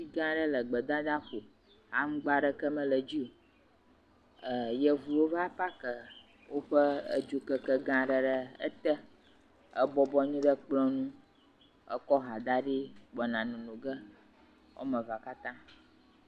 Ti gãa ɖe le gbedadaƒo. Aŋgba ɖeke mele dzi o. Yevuwo va paakɛɛ woƒe edzokeke gã aɖe ɖe ete ebɔblɔ anyi ɖe kplɔ̃ ŋu. Ekɔ ha da ɖi gbɔna nono ge woame vea katã.